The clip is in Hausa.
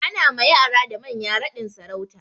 Ana ma yara da manya raɗin sarauta.